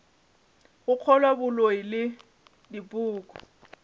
go kgolwa boloi le dipoko